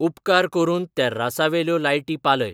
उपकार करून तेर्रासावेल्यो लायटी पालय